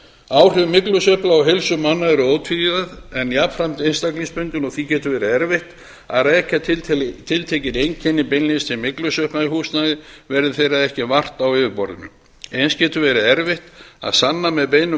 áhrif myglusveppa á heilsu manna eru ótvíræð en jafnframt einstaklingsbundin og því getur verið erfitt að rekja tiltekin einkenni beinlínis til myglusveppa í húsnæði verði þeirra ekki vart á yfirborðinu eins getur verið erfitt að sanna með beinum